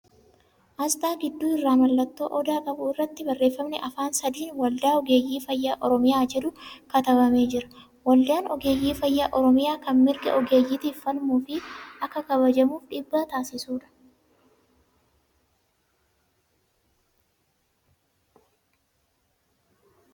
Asxaa gidduu irraa mallattoo Odaa qabu irratti barreeffamni Afaan sadiin ' Waldaa Ogeeyyii Fayyaa Oromiyaa ' jedhu katabamee jira. Waldaan ogeeyyii fayyaa Oromiyaa kan mirga ogeeyyiitiif falmuu fi akka kabajamuuf dhiibbaa taasisuudha.